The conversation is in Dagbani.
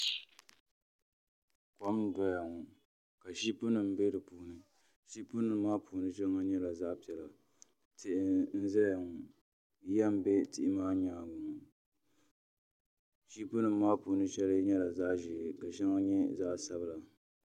Kom n doya ŋo ka shiip nim bɛ di puuni ship nim maa puuni shɛŋa nyɛla zaɣ piɛla tihi n ʒɛya ŋo yiya n bɛ tihi maa nyaanga ŋo shiipi nim maa puuni shɛli nyɛla zaɣ ʒiɛ ka shɛŋa nyɛ zaɣ sabila